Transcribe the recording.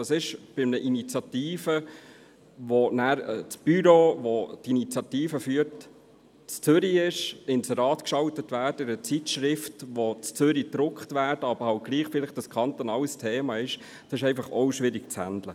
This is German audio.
Bei einer Initiative, wo das Büro, welche diese betreut, in Zürich ist, und Inserate in einer Zeitschrift geschaltet werden, die in Zürich gedruckt wird, während es ein kantonales Thema ist, wird dies schwierig handhabbar.